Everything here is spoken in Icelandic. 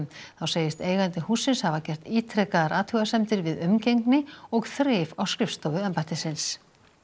þá segist eigandi hússins hafa gert ítrekaðar athugasemdir við umgengni og þrif á skrifstofu embættisins